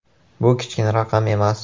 Bu kichkina raqam emas.